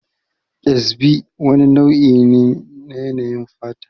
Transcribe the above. Ƙyazbi wani nau'i ne na yanayin fata